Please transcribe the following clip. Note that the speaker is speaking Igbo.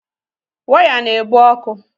Waya na-ebu ọkụ